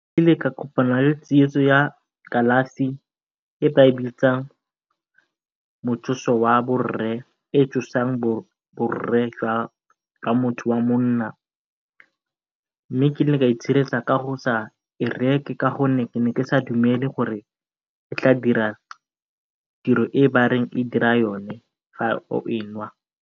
Ile ka kopana le tsietso ya kalafi e ba e bitsang motsoso wa borre e e tsosang borre ka motho wa monna mme ke ne ka itshireletsa ka go sa e reke ka gonne ke ne ke sa dumele gore e tla dira tiro e ba reng e dira yone o e nwa.